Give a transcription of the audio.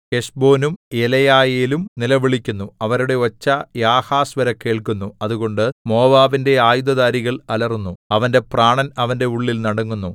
ഹെശ്ബോനും എലെയാലേയും നിലവിളിക്കുന്നു അവരുടെ ഒച്ച യാഹസ് വരെ കേൾക്കുന്നു അതുകൊണ്ട് മോവാബിന്റെ ആയുധധാരികൾ അലറുന്നു അവന്റെ പ്രാണൻ അവന്റെ ഉള്ളിൽ നടങ്ങുന്നു